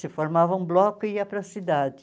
Se formava um bloco e ia para a cidade.